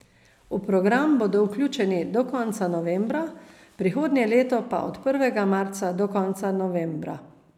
V program bodo vključeni do konca novembra, prihodnje leto pa od prvega marca do konca novembra.